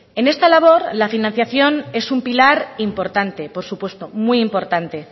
en esta labor la financiación es un pilar importante por supuesto muy importante